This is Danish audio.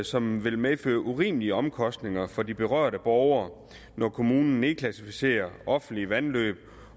som vil medføre urimelige omkostninger for de berørte borgere når kommunerne nedklassificerer offentlige vandløb